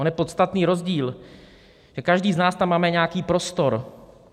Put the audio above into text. On je podstatný rozdíl, že každý z nás tam máme nějaký prostor.